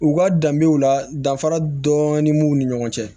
U ka danbew la danfara dɔɔnin b'u ni ɲɔgɔn cɛ